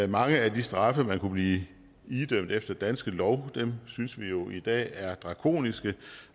mange af de straffe man kunne blive idømt efter danske lov synes vi jo i dag er drakoniske